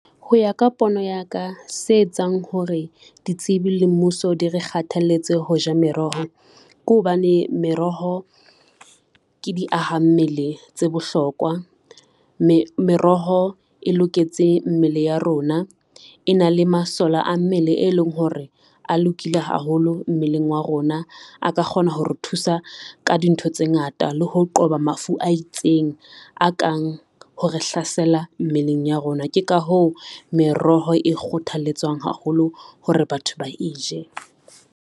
Ho ya ka pono ya ka se etsang hore ditsebi le mmuso di re kgathalletse ho ja meroho, ke hobane meroho ke di ahammele tse bohlokwa. Meroho e loketse mmele ya rona e na le masole a mmele, e leng hore a lokile haholo mmeleng wa rona, a ka kgona ho re thusa ka dintho tse ngata le ho qoba mafu a itseng a kang ho re hlasela mmeleng ya rona. Ke ka hoo meroho e kgothalletswang haholo hore batho ba e je.